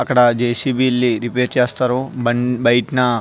అక్కడ J. C. B. Repair చేస్తారు బండి బయటనా --